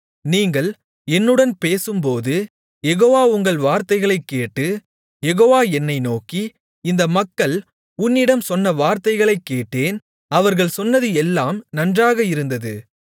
நீங்கள் என்னுடன் பேசும்போது யெகோவா உங்கள் வார்த்தைகளைக் கேட்டு யெகோவா என்னை நோக்கி இந்த மக்கள் உன்னிடம் சொன்ன வார்த்தைகளைக் கேட்டேன் அவர்கள் சொன்னது எல்லாம் நன்றாக இருந்தது